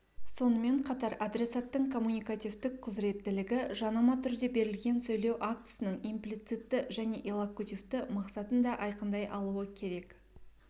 сонымен қатар адресаттың коммуникативтік құзыреттілігі жанама түрде берілген сөйлеу актісінің имплицитті және иллокутивті мақсатын да айқындай алуы керек